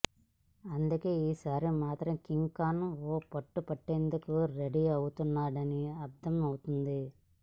అందుకే ఈసారి మాత్రం కింగ్ ఖాన్ ఓ పట్టు పట్టేందుకు రెడీ అవుతున్నాడని అర్థమవుతోంది